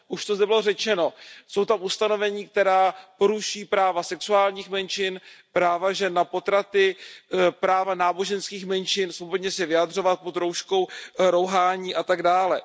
Už to zde bylo řečeno, jsou tam ustanovení, která porušují práva sexuálních menšin, práva žen na potraty, práva náboženských menšin svobodně se vyjadřovat pod rouškou rouhání a tak dále.